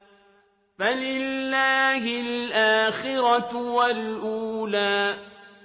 فَلِلَّهِ الْآخِرَةُ وَالْأُولَىٰ